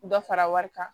Dɔ fara wari kan